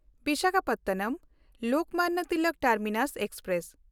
Visakhapatnam Lokmanya Tilak Terminus express